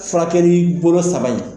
Furakɛkɛli bolo saba in